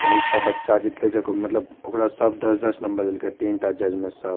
ते एकटा बच्चा जीतलय ज मतलब ओकरा सब दस दस नंबर देलके तीन टा जज में सब।